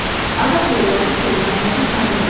Adam yolladı ki, namərdi çağırın.